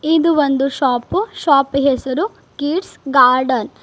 ಇದು ಒಂದು ಶಾಪ ಶಾಪ್ ಹೆಸರು ಕಿಡ್ಸ್ ಗಾರ್ಡನ್ .